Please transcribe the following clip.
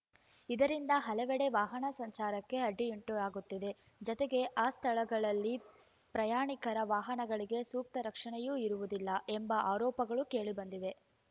ಇದರಿಂದ ಹಲವೆಡೆ ವಾಹನ ಸಂಚಾರಕ್ಕೆ ಅಡ್ಡಿಯುಂಟಾಗುತ್ತಿದೆ ಜತೆಗೆ ಆ ಸ್ಥಳಗಳಲ್ಲಿ ಪ್ರಯಾಣಿಕರ ವಾಹನಗಳಿಗೆ ಸೂಕ್ತ ರಕ್ಷಣೆಯೂ ಇರುವುದಿಲ್ಲ ಎಂಬ ಆರೋಪಗಳು ಕೇಳಿಬಂದಿವೆ